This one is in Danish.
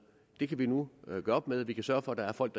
det kan vi nu gøre op med vi kan sørge for at der er folk